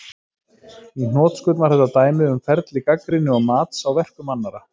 Í hnotskurn var þetta dæmi um ferli gagnrýni og mats á verkum annarra.